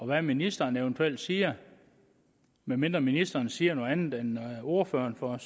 hvad ministeren eventuelt siger medmindre ministeren siger noget andet end ordføreren for